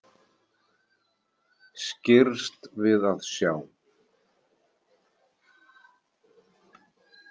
Skirrst við að sjá.